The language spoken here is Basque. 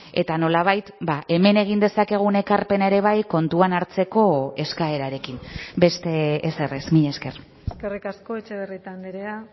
eta nolabait hemen egin dezakegun ekarpena ere bai kontuan hartzeko eskaerarekin beste ezer ez mila esker eskerrik asko etxebarrieta andrea